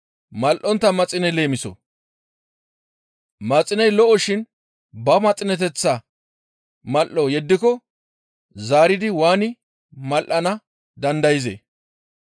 «Maxiney lo7oshin ba maxineteththaa mal7o yeddiko zaaridi waani mal7ana dandayzee?